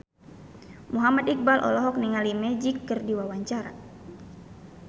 Muhammad Iqbal olohok ningali Magic keur diwawancara